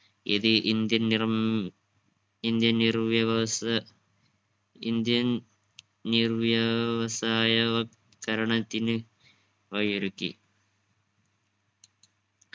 ഇത് indian നിർമ് indian നിർവ്യവസ indian നിർവ്യവസായ വത്കരണത്തിന് വഴിയൊരുക്കി.